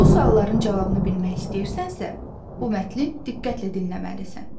Bu sualların cavabını bilmək istəyirsənsə, bu mətni diqqətlə dinləməlisən.